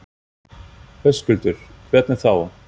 Höskuldur: Hvernig þá?